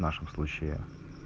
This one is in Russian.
в нашем случае